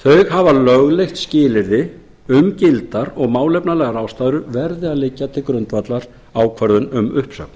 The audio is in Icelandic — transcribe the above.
hafa lögleitt skilyrði um það að gildar og málefnalegar ástæður verði að liggja til grundvallar ákvörðun um uppsögn